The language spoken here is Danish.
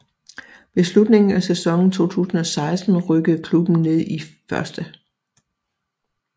Ved slutningen af sæsonen 2016 rykkede klubben ned i 1